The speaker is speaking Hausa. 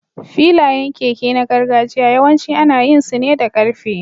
Filayen keke na gargajiya yawanci ana yin su ne da ƙarfe.